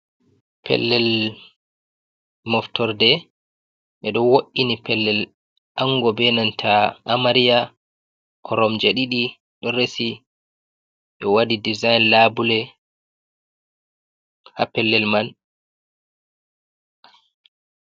Pellel moftorde ɓeɗo wo’’ini pellel ango benanta amariya, koromje ɗiɗi ɗo resi, ɓe waɗi dezign labule ha pellel man.